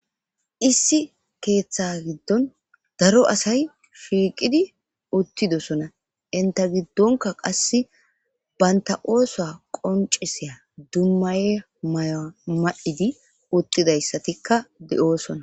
Issi keeththe giddon daro asay fiiqidi uttidosona inta giddonka qasse baynta ooso qoncisiya dummaye may7a mad7idi uttidayssatikka de7oosona